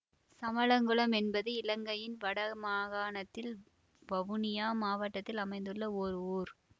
சமளங்குளம் என்பது இலங்கையின் வடமாகாணத்தில் வவுனியா மாவட்டத்தில் அமைந்துள்ள ஓர் ஊர்